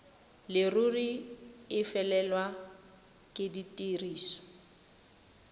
leruri e felelwe ke tiriso